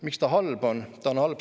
Miks see on halb?